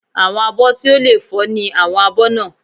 Àwọn àbọ̀ tí ò lè fọ́ ni àwọn abọ́ náà